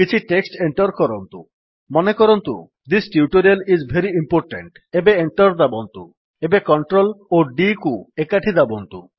କିଛି text enter କରନ୍ତୁ ମନେକରନ୍ତୁ this tutorial is very important ଏବେ Enter ଦାବନ୍ତୁ ଏବେ Ctrl ଓ d କୁ ଏକାଠି ଦାବନ୍ତୁ